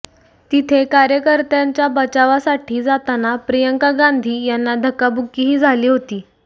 तिथे कार्यकर्त्यांच्या बचावासाठी जाताना प्रियंका गांधी यांना धक्काबुक्कीही झाली होती